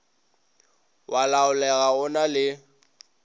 wa laolega o na le